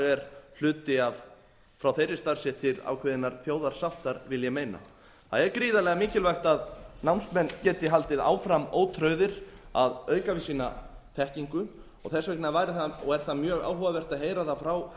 er hluti frá þeirri starfsstétt til ákveðinnar þjóðarsáttar vil ég meina það er gríðarlega mikilvægt að námsmenn geti haldið áfram ótrauðir að auka við sína þekkingu og þess vegna væri mjög áhugavert að heyra það frá